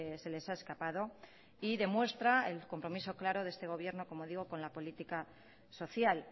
se les ha escapado y demuestra el compromiso claro de este gobierno como digo con la política social